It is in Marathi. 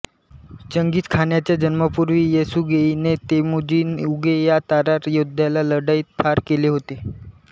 चंगीझ खानाच्या जन्मापूर्वी येसुगेईने तेमुजीन उगे या तातार योद्ध्याला लढाईत ठार केले होते